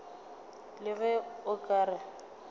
le ge o ka re